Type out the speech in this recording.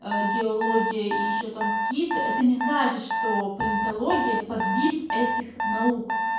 а геология и ещё там кит это не значит что политология подвид этих наук